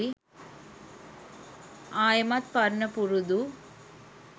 ආයෙමත් පරණ පුරුදු